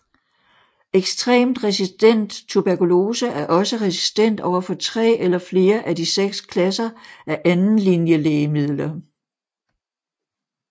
Ekstremt resistent tuberkulose er også resistent over for tre eller flere af de seks klasser af andenlinjelægemidler